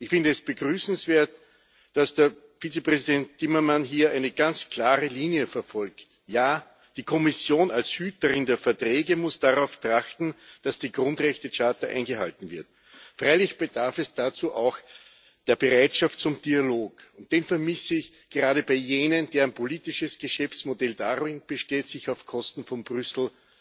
Ich finde es begrüßenswert, dass der Vizepräsident Timmermans hier eine ganz klare Linie verfolgt. Ja, die Kommission als Hüterin der Verträge muss darauf achten, dass die Grundrechtecharta eingehalten wird. Freilich bedarf es dazu auch der Bereitschaft zum Dialog. Den vermisse ich gerade bei jenen, deren politisches Geschäftsmodell darin besteht, sich auf Kosten von Brüssel